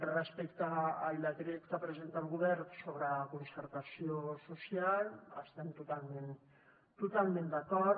respecte al decret que presenta el govern sobre concertació social hi estem totalment d’acord